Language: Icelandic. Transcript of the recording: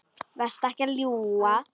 Vertu ekki að ljúga!